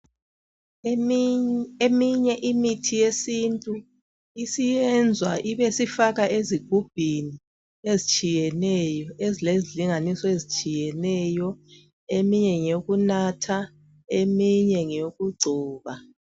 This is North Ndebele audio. Eminye imithi yesintu isiyenzwa ibisifakwa ezigubhini ezitshiyeneyo ezilezilinganiso ezitshiyeneyo eminye ngeyokunatha eminye ngeyokugcoba